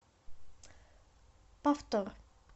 повтор